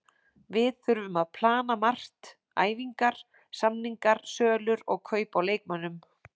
Við þurfum að plana margt, æfingar, samningar, sölur og kaup á leikmönnum.